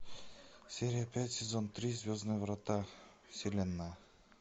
серия пять сезон три звездные врата вселенная